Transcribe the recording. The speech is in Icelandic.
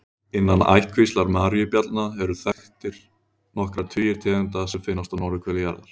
Innan ættkvíslar maríubjallna eru þekktar nokkrir tugir tegunda sem finnast á norðurhveli jarðar.